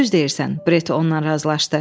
Düz deyirsən, Bret onunla razılaşdı.